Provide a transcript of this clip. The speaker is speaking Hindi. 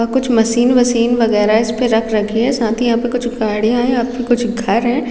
अ कुछ मशीन वासिन वगैरा इस पे रख रखी है साथ ही यहाँ पे कुछ गाड़ियां है यहाँ कुछ घर है।